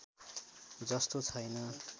जस्तो छैन